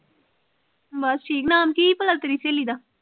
ਬਸ ਠੀਕ, ਨਾਮ ਕਿ ਸੀ ਭਲਾ ਤੇਰੀ ਸਹੇਲੀ ਦਾ?